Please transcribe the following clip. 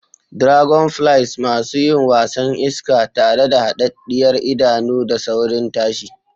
Dragonflies: Masu yin wasan iska tare da hadaddiyar idanu da saurin tashi.